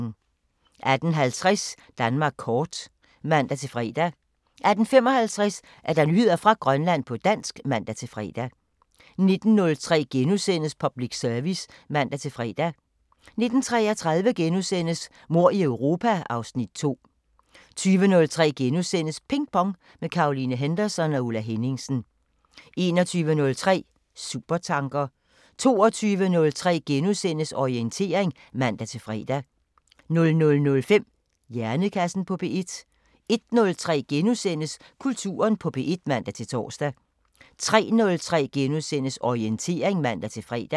18:50: Danmark kort (man-fre) 18:55: Nyheder fra Grønland på dansk (man-fre) 19:03: Public Service *(man-fre) 19:33: Mord i Europa (Afs. 2)* 20:03: Ping Pong – med Caroline Henderson og Ulla Henningsen * 21:03: Supertanker 22:03: Orientering *(man-fre) 00:05: Hjernekassen på P1 01:03: Kulturen på P1 *(man-tor) 03:03: Orientering *(man-fre)